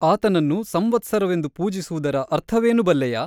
ಆತನನ್ನು ಸಂವತ್ಸರವೆಂದು ಪೂಜಿಸುವುದರ ಅರ್ಥವೇನು ಬಲ್ಲೆಯಾ ?